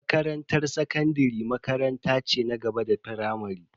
Makarantar sakandare makaranta ce na gaba da firamare.